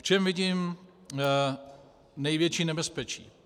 V čem vidím největší nebezpečí?